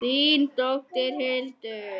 Þín dóttir, Hildur.